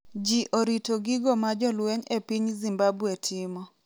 Ji orito gigo ma jolweny e piny Zimbabwe timo